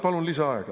Palun lisaaega.